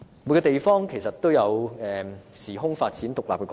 每個地方都有其時空發展的獨立過程。